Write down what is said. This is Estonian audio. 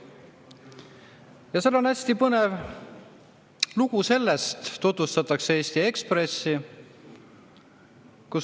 Ja seal on hästi põnev lugu, tutvustatakse Eesti Ekspressi.